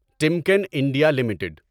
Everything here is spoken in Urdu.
Timken India limited